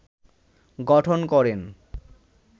গঠন করেন